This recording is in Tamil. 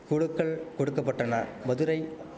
குளுக்கள் கொடுக்க பட்டன மதுரை